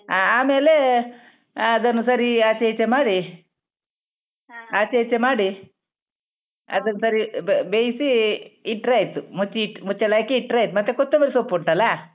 ಹಾ ಆಮೇಲೆ ಅದನ್ನು ಸರೀ ಆಚೆ ಈಚೆ ಮಾಡಿ ಆಚೆ ಈಚೆ ಮಾಡಿ ಅದನ್ನ್ ಸರಿ ಬ~ ಬೆಯ್ಸಿ ಇಟ್ಟ್ರೆ ಆಯ್ತು ಮುಚ್ಚಿ ಮುಚ್ಚಳ ಹಾಕಿ ಇಟ್ಟ್ರೆ ಆಯ್ತು ಮತ್ತೆ ಕೊತ್ತೊಂಬರಿ ಸೊಪ್ಪ್ ಉಂಟಲ್ಲಾ?